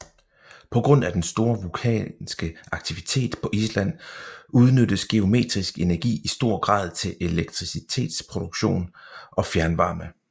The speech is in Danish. På grund af den store vulkanske aktivitet på Island udnyttes geotermisk energi i stor grad til elektricitetsproduktion og fjernvarme